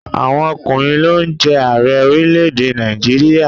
Àwọn ọkùnrin ló ń jẹ Ààrẹ orílẹ̀èdè Nàìjíríà